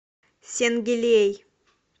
сенгилей